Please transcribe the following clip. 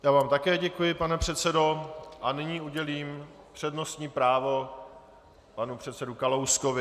Já vám také děkuji, pane předsedo, a nyní udělím přednostní právo panu předsedovi Kalouskovi.